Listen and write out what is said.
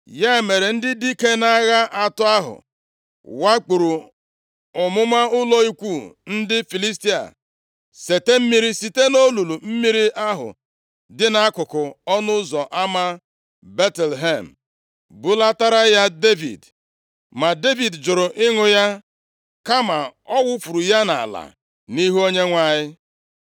Ya mere, ndị dike nʼagha atọ ahụ wakpuru ọmụma ụlọ ikwu ndị Filistia, seta mmiri site nʼolulu mmiri ahụ dị nʼakụkụ ọnụ ụzọ ama Betlehem, bulatara ya Devid. Ma Devid jụrụ ịṅụ ya, kama ọ wufuru ya nʼala nʼihu Onyenwe anyị.